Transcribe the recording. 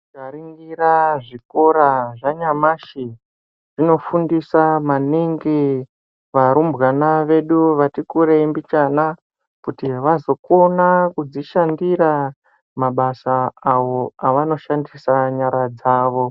Tikaningira zvikora zvanyamashi zvinofundisa maningi kuva rumbwana vedu vatikurei mbichana kuti vazokona kuzvishandira mabasa awo avanoshandisa nyara dzawo.